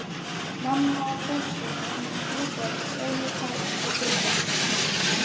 Mamma og Þorsteinn eignuðust þrjú börn, Fjólu, Karl og Gunnar.